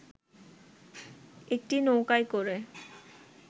একটি নৌকায় করে